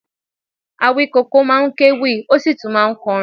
Awíkoko máa ń kewì, ó sì tún máa ń kọrin